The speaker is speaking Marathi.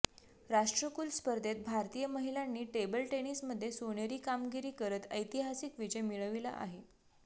राष्ट्रकुल स्पर्धेत भारतीय महिलांनी टेबल टेनिसमध्ये सोनेरी कामगिरी करत ऐतिहासिक विजय मिळविला आहे